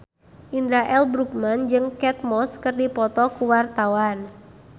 Indra L. Bruggman jeung Kate Moss keur dipoto ku wartawan